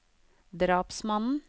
drapsmannen